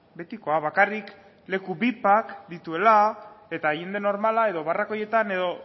betikoa bakarrik leku vipak dituela eta jende normala edo barrakoietan edo